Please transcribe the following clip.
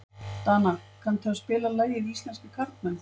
Dana, kanntu að spila lagið „Íslenskir karlmenn“?